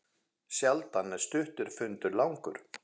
Sjaldan er stuttur fundur langur.